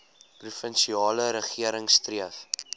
provinsiale regering streef